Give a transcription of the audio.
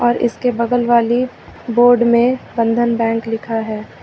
और इसके बगल वाली बोर्ड में बंधन बैंक लिखा है।